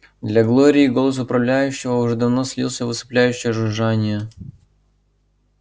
для глории голос управляющего уже давно слился в усыпляющее жужжание